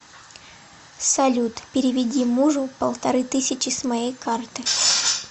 салют переведи мужу полторы тысячи с моей карты